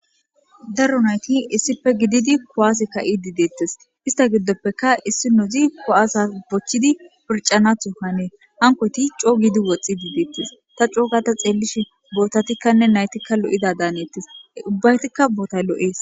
daro nayti issife gididi kowaas ka7i dideettes ista giddoppeka issi nozi ko7asa bochchidi pircanathokkanee hanko tic co giidi woxxi diideettis ta cookata xeellishe bootatikkanne naytikka lo7ida daaneettes ubbaytikka boota lo7ees